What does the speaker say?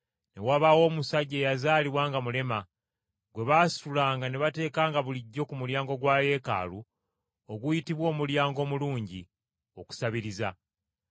ne wabaawo omusajja eyazaalibwa nga mulema gwe baasitulanga ne bateekanga bulijjo ku mulyango gwa Yeekaalu oguyitibwa Omulyango Omulungi, okusabiriza.